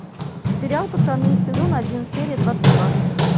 сериал пацаны сезон один серия двадцать два